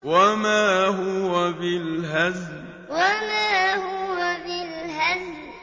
وَمَا هُوَ بِالْهَزْلِ وَمَا هُوَ بِالْهَزْلِ